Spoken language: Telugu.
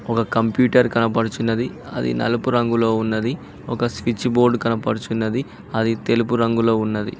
ఒక కంప్యూటర్ కనబడుచున్నది అది నలుపు రంగులో ఉన్నది ఒక స్విచ్ బోర్డు కనబడుచున్నది అది తెలుపు రంగులో ఉన్నది.